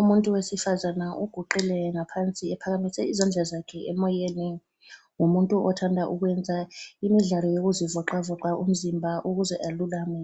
Umuntu wesifazana uguqile ngaphansi ephakamise izandla zakhe emoyeni ,ngumuntu othanda ukwenza imidlalo yokuzi voxa voxa umzimba ukuze elulame